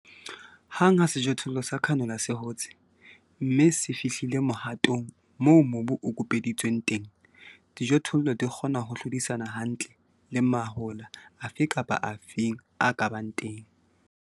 Hang ha sejothollo sa canola se hotse, mme se fihlie mohatong moo mobu o kupeditsweng teng, dijothollo di kgona ho hlodisana hantle le mahola afe kapa afe a ka bang teng.